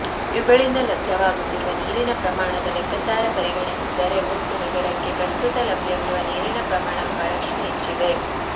ಇವುಗಳಿಂದ ಲಭ್ಯವಾಗುತ್ತಿರುವ ನೀರಿನ ಪ್ರಮಾಣದ ಲೆಕ್ಕಚಾರ ಪರಿಗಣಿಸಿ ದರೆ ಒಟ್ಟು ನಗರಕ್ಕೆ ಪ್ರಸ್ತುತ ಲಭ್ಯವಿರುವ ನೀರಿನ ಪ್ರಮಾಣ ಬಹಳಷ್ಟು ಹೆಚ್ಚಿದೆ